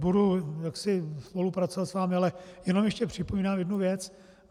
Budu jaksi spolupracovat s vámi, ale jenom ještě připomínám jednu věc.